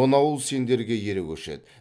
он ауыл сендерге ере көшеді